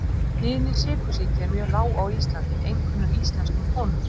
Tíðni sykursýki er mjög lág á Íslandi einkum hjá íslenskum konum.